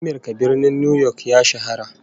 A Amirka, Birnin New York ya shahara